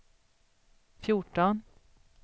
fjorton